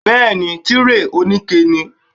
Bẹ́ẹ̀ni, Tíréè òní ike ni.